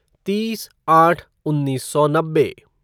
तीस आठ उन्नीस सौ नब्बे